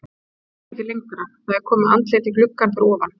Hann kemst ekki lengra, það er komið andlit í gluggann fyrir ofan.